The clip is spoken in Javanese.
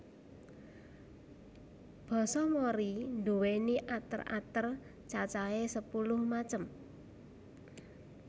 Basa Mori nduwéni ater ater cacahè sepuluh macem